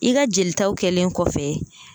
I ka jelitaw kɛlen kɔfɛ